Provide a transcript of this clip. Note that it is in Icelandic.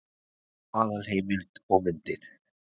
Aðalheimild og myndir: